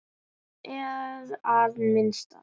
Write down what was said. Margs er að minnast